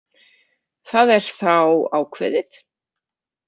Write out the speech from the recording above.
Það er þá ákveðið.